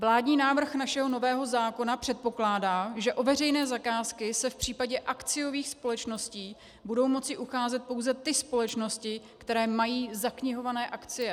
Vládní návrh našeho nového zákona předpokládá, že o veřejné zakázky se v případě akciových společností budou moci ucházet pouze ty společnosti, které mají zaknihované akcie.